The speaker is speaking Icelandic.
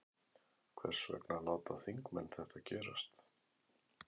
Hvers vegna láta þingmenn þetta gerast?